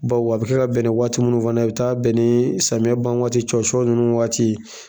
Bawo a bi kɛ ka bɛn ni waati munnu fana ye a bi taa bɛn ni samiya ban waati cɔcɔ nunnu waati